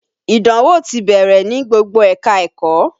Ìdánwò ti bẹ̀rẹ̀ ní gbogbo ẹ̀ka-ẹ̀kọ́